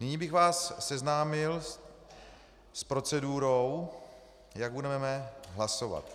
Nyní bych vás seznámil s procedurou, jak budeme hlasovat.